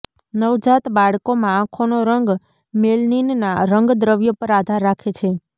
નવજાત બાળકોમાં આંખોનો રંગ મેલનિનના રંગદ્રવ્ય પર આધાર રાખે છે